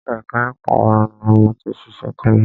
Ẹka ẹ̀kọ́ òfin ni mo ti ṣiṣẹ́ tẹ́lẹ̀.